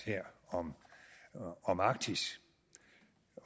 om arktis